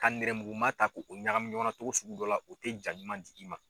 Ka nɛrɛmuguman ta k'o ɲagami ɲɔgɔnna cogo sugu dɔ la, o te jan ɲuman d'i ma.